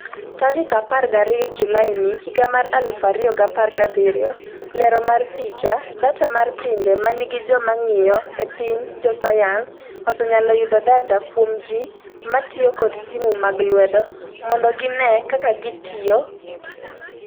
12 Julaini 2017 Lero mar picha, Data mar pinje ma nigi joma ng’iyo e piny Jo sayans osenyalo yudo data kuom ji ma tiyo kod simu mag lwedo mondo gine kaka gitiyo.